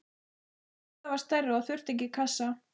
Kata var stærri og þurfti ekki kassa.